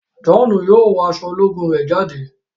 John yóò wọ aṣọ ológun rẹ jáde.